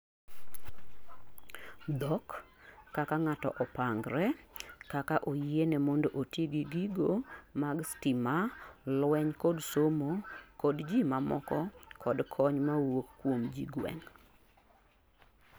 dhok, kaka ngato opangre kaka oyiene mondo oti gi gigo mag stima lueny kod somo kod ji mamoko kod kony mawuok kuom jigweng